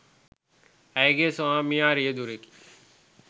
ඇගේ ස්වාමියා රියදුරෙකි